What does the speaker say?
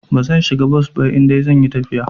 Bazan shiga bos ba idan zan yi tafiya.